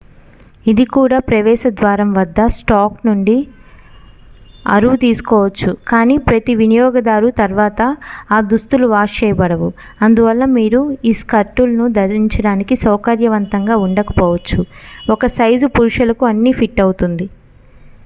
ఇది కూడా ప్రవేశ ద్వారం వద్ద స్టాక్ నుండి అరువు తీసుకోవచ్చు కానీ ప్రతి వినియోగదారు తర్వాత ఆ దుస్తులు వాష్ చేయబడవు అందువలన మీరు ఈ స్కర్టులను ధరించడానికి సౌకర్యవంతంగా ఉండకపోవచ్చు ఒక సైజు పురుషులకు అన్ని ఫిట్ అవుతుంది